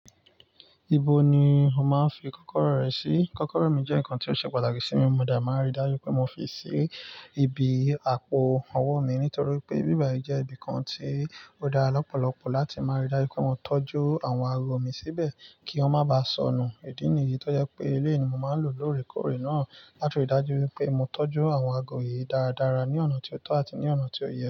Ibo ni o máa ń fi kọ́kọ́rọ́ rẹ sí? Kọ́kọ́rọ́ mi jẹ́ nǹkan tó ṣe pàtàkì sí mi, mo dà máa rí dájú pé mo fi sí ibi àpò owó mi nítorí pé ibi báyì jẹ́ ibi kan tí ó dára lọ́pọ̀lọpọ̀ láti máa rí dájú pé mo tọ́jú àwọn ago mi síbẹ̀ kí wọ́n má bà sọnù. Ìdí nìyí tó jẹ́ pé eléyí ni máa ń lò lóòrèkóòrè náà láti rí dájú pé mo tọ́jú àwọn ago yìí dáradára ní ọ̀nà tí ó tọ́ àti ní ọ̀nà tí ó yẹ.